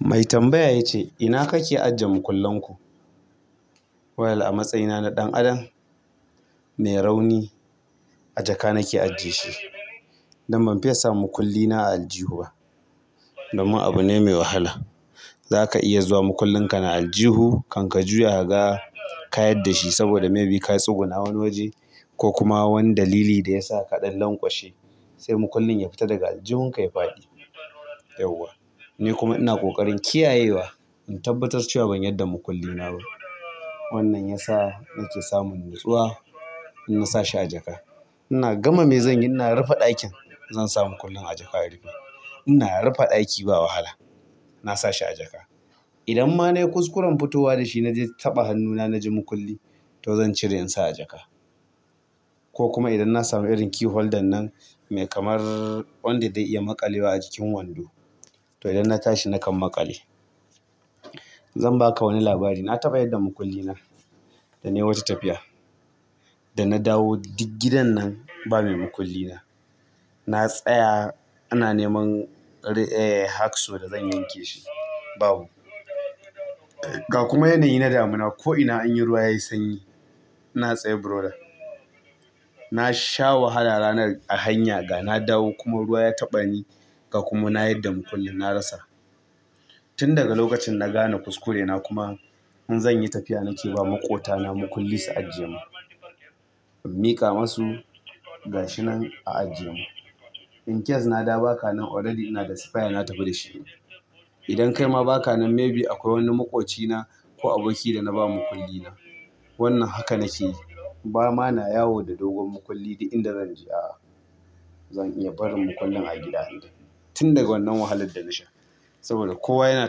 Mai tambaya ya ce, ina kake ajiye makullan ku? Wal a matsayina na ɗan ado mai rauni a jaka nake ajjiye shi. Dan ban fiya samun mukullina a aljihu ba. Domin abu ne mai wahala. Za ka iya zuwa mukullin ka na aljihu kan ka juya ka ga ka yadda shi saboda maybe ka tsuguna wani waje ko kuma wani dalili da ya sa ka ɗan lanƙwashe. Sai mukullin ya fita daga aljihun ka ya faɗi. Yauwa. Ni kuma ina ƙoƙarin kiyayewa. In tabbatar cewa ban yadda mukullina ba. Wannan ya sa nake samun nutsuwa in na sa shi a jaka. Ina gama me zan yi, ina rufe ɗakin zan sa mukullin a jaka rufe. Ina rufe ɗaki ba wahala. Na sa shi a jaka. Idan ma na yi kuskuren fitowa da shi na je taɓa hannuna na ji mukulli to zan cire in sa a jaka. Ko kuma idan na samu irin key holder nan mai kamar wanda zai iya maƙalewa a jikin wando to idan na tashi na kan maƙale. Zan ba ka wani labari. Na taɓa yadda mukullina da nai wata tafiya. Da na dawo duk gidan nan ba mai mukullina. Na tsaya ana neman, ehh hacks wadda zan yanke shi. Babu. Ga kuma yanayi na damina ko ina anyi ruwa yayi sanyi. Ina tsaye brother na sha wahala ranar a hanya ga na dawo kuma ruwa ya taɓa ni ga kuma na yadda mukullin na rasa. Tun daga lokacin na gane kuskure na kuma in zanyi tafiya nake ba makotana mukulli su ajiye min in miƙa masu gashinan a ajiyemin. In case na dawo ba kanan already ina da sifaya na tafi da shi. Idan kai ma ba ka nan maybe akwai wani maƙwabcina ko aboki da na ba mukulli na. Wannan haka nake yi. Ba ma na yawo da dogon mukulli da inda zan je a'a. Zan iya barin mukullin a gida idan tun daga wannan wahalar da na sha. Saboda kowa yana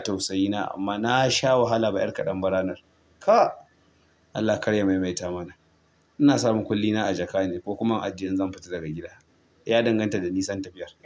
tausayina amma na sha wahala ba ƴar kaɗan ba ranar. Ka! Allah kar ya maimaita mana. Ina sa mukullina a jaka ne ko kuma a ajiye in zan fita daga gida. Ya danganta da nisan tafiyar.